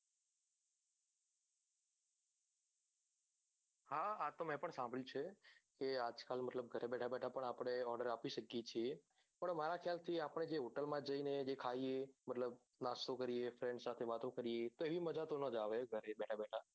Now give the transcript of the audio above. હા આતો મેં પણ સાંભળ્યું છે કે આજ કાલ મતલબ બેઠા બેઠા પણ આપડે order આપી શકીએ છીએ પણ મારા ખ્યાલ થી આપડે જ hotel માં જઈ ને જે ખાઈએ મતલબ નાસ્તો કરીએ friends સાથે વાતો કરીએ તો એવી તો માજા ના આવે ગરે બેઠા બેઠા